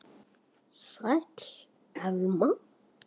Sæl, Elma.